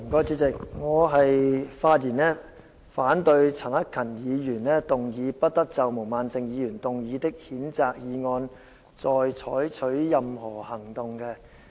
主席，我發言反對陳克勤議員提出的"不得就毛孟靜議員動議的譴責議案再採取任何行動"的議案。